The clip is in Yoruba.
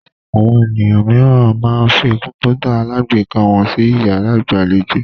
Àwọn ènìyàn mìíràn máa ń fi kọ̀ǹpútà alágbèéká wọn sí ìyàrá ìgbàlejò.